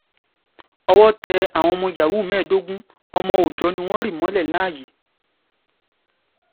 owó tẹ àwọn ọmọ yahoo mẹ́ẹ̀ẹ́dógún ọmọ òòjọ́ ni wọ́n rì mọ́lẹ̀ láàyè